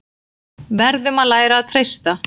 Verðum að læra að treysta